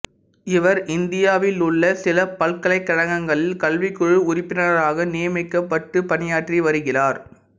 இவர் இந்தியாவிலுள்ள சில பல்கலைக்கழகங்களில் கல்விக்குழு உறுப்பினராக நியமிக்கப்பட்டுப் பணியாற்றி வருகிறார்